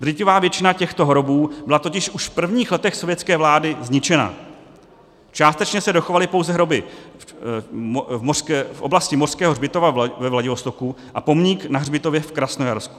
Drtivá většina těchto hrobů byla totiž už v prvních letech sovětské vlády zničena, částečně se dochovaly pouze hroby v oblasti Mořského hřbitova ve Vladivostoku a pomník na hřbitově v Krasnojarsku.